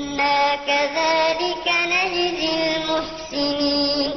إِنَّا كَذَٰلِكَ نَجْزِي الْمُحْسِنِينَ